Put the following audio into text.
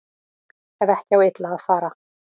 Ef ekki á illa að fara